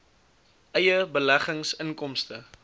eie beleggings inkomste